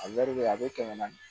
A a bɛ kɛmɛ naani